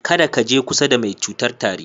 Kada ka je kusa da mai cutar tari.